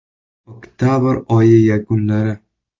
Oktabr oyi yakunlari.